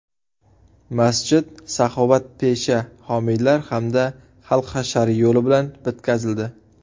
Masjid saxovatpesha homiylar hamda xalq hashari yo‘li bilan bitkazildi.